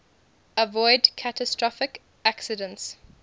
avoid catastrophic accidents